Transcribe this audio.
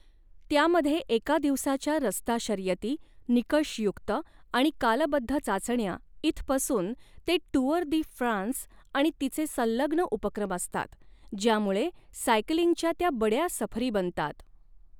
त्यामध्ये एका दिवसाच्या रस्ता शर्यती, निकषयुक्त, आणि कालबद्ध चाचण्या इथपासून ते टूअर दी फ्रान्स आणि तिचे संलग्न उपक्रम असतात, ज्यामुळे सायकलिंगच्या त्या बड्या सफरी बनतात.